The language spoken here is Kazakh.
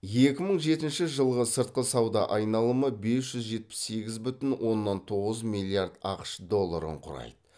екі мың жетінші жылғы сыртқы сауда айналымы бес жүз жетпіс сегіз бүтін оннан тоғыз миллиард ақш долларын құрайды